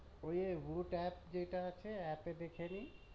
ওইযে voot app যেটা আছে app এ দেখে নি